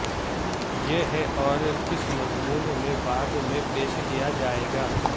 یہ ہے اور اس مضمون میں بعد میں پیش کیا جائے گا